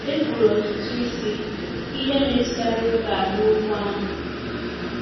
E kwuru ọtụtụ isi ihe metụtara oge a n'okwu ahụ.